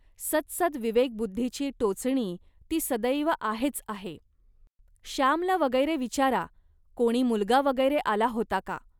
सदसद्विवेकबुद्धीची टोचणी ती सदैव आहेच आहे. श्यामला वगैरे विचारा, कोणी मुलगा वगैरे आला होता का